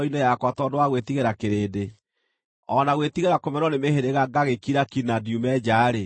tondũ wa gwĩtigĩra kĩrĩndĩ, o na gwĩtigĩra kũmenwo nĩ mĩhĩrĩga ngagĩkira ki na ndiume nja-rĩ,